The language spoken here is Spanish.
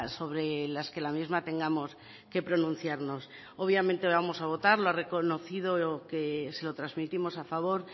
sobre las que la misma tengamos que pronunciarnos obviamente vamos a votar lo ha reconocido que se lo transmitimos a favor